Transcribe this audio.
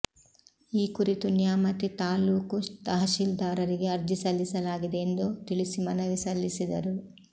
ಈ ಕುರಿತು ನ್ಯಾಮತಿ ತಾಲ್ಲೂಕು ತಹಶೀಲ್ದಾರರಿಗೆ ಅರ್ಜಿ ಸಲ್ಲಿಸಲಾಗಿದೆ ಎಂದು ತಿಳಿಸಿ ಮನವಿ ಸಲ್ಲಿಸಿದರು